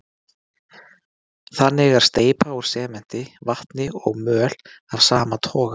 Þannig er steypa úr sementi, vatni og möl af sama toga.